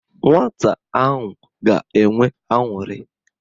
Nwata ahụ ga-enwe aṅụrị.